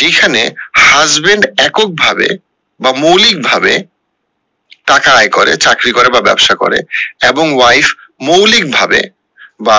যেখানে husband একক ভাবে বা মৌলিক ভাবে টাকা আয় করে চাকরি করে বা ব্যাবসা করে এবং wife মৌলিক ভাবে বা